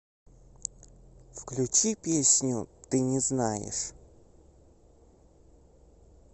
включи песню ты не знаешь